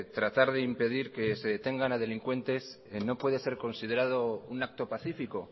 tratar de impedir que se detengan a delincuentes no puede ser considerado un acto pacífico